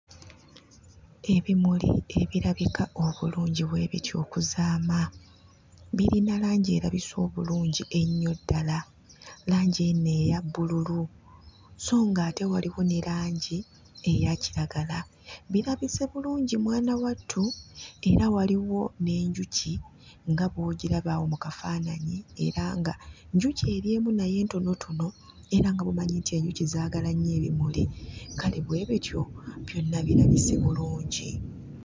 Ebimuli ebirabika obulungi bwe bityo okuzaama birina langi erabise obulungi ennyo ddala langi eno eya bbululu sso nga ate waliwo ne langi eya kiragala birabise bulungi mwana wattu era waliwo n'enjuki nga bw'ogiraba awo mu kafaananyi era nga njuki eri emu naye ntonotono era nga bw'omanyi nti enjuki zaagala nnyo ebimuli kale bwe bityo byonna birabise bulungi.